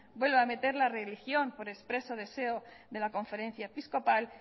vuelve a meter la religión por expreso deseo de la conferencia episcopal